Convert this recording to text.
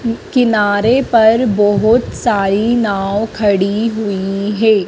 किनारे पर बहोत सारी नाव खड़ी हुई है।